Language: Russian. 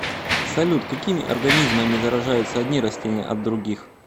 салют какими организмами заражаются одни растения от других